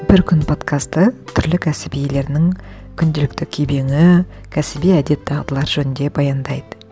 бір күн подкасты түрлі кәсіп иелерінің күнделікті кебеңі кәсіби әдет дағдылар жөнінде баяндайды